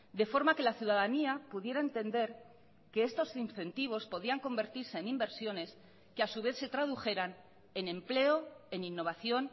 de forma que la ciudadanía pudiera entender que estos incentivos podían convertirse en inversiones que a su vez se tradujeran en empleo en innovación